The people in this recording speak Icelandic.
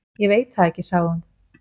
Ég veit það ekki, sagði hún.